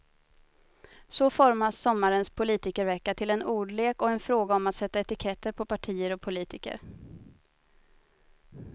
Så formas sommarens politikervecka till en ordlek och en fråga om att sätta etiketter på partier och politiker.